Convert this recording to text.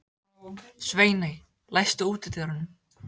Sveiney, læstu útidyrunum.